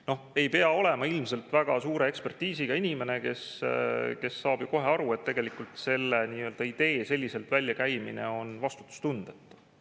No ei pea olema ilmselt väga suure ekspertiisiga inimene, et saada kohe aru: tegelikult on sellise idee väljakäimine vastutustundetu.